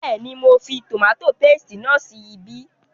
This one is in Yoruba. Bẹ́ẹ̀ni, mo fi tòmátò paste náà sí ibí